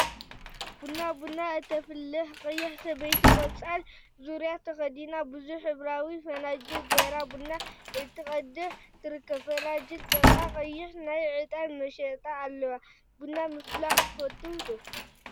ቡና ቡና እተፍልሕ ቀያሕ ሰበይቲ ቆፃል ዙርያ ተከዲና ቡዙሕ ሕብራዊ ፈናጅል ገይራ ቡና እናቀድሐት ትርከብ፡፡ አብቲ ፈናጅል ጥቃ ቀይሕ ናይ ዕጣን መጠሻ አለዎ፡፡ ቡና ምፍላሕ ትፈትው ዶ?